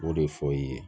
O de fɔ i ye